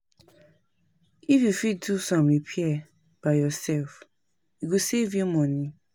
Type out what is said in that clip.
If you fit do some repair by yourself, e go save you money